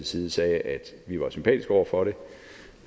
side sagde at vi var sympatisk indstillet over for det